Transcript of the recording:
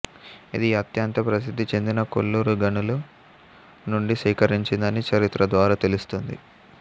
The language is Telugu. ఇది అత్యంత ప్రసిద్ధిచెందిన కోళ్లూరు గనులు నుండి సేకరించందని చరిత్ర ద్వారా తెలుస్తుంది